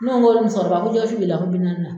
Ne ko n ko muso kɔrɔba ko jɛgɛ wusu joli la ko bi naani na.